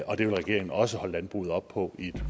og det vil regeringen også holde landbruget op på i et